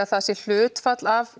að það sé hlutfall af